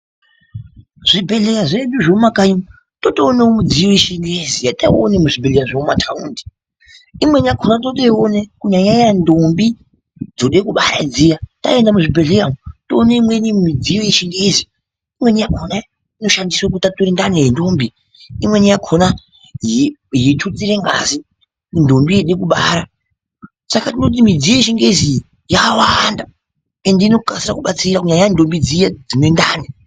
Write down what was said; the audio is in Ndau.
Zvibhedhleya zvedu zvekumakanyi totoonawo midziyo yechingezi yataiona muzvibhedhleya zvemumataundi imweni yakhona totoiona kunyanyanya ndombi dzoda kubara dziya taenda muzvibhedhleya umu toona imweni midziyo yechingezi imweni yakhona inoshandiswe kutature ndani yendombi imweni yakhona yeithutsire ngazi kuti ndombi yode kubara saka toti midziyo yechingezi iyi yakawanda ende inokasa kubatsira nyanyei ndombi dziya dzine ndani.